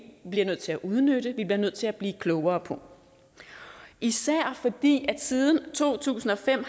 bliver nødt til at udnytte som vi bliver nødt til at blive klogere på især fordi landbrugets siden to tusind og fem